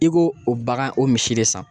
I ko o bagan o misi de san